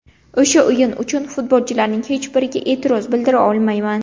O‘sha o‘yin uchun futbolchilarning hech biriga e’tiroz bildira olmayman.